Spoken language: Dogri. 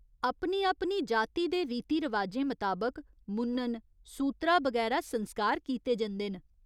अपनी अपनी जाति दे रीति रवाजें मताबक मुन्नन, सूत्तरा बगैरा संस्कार कीते जंदे न।